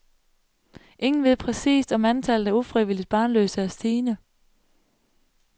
Ingen ved præcist, om antallet af ufrivilligt barnløse er stigende.